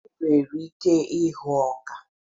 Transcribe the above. Enwere ike ịhụ ọka.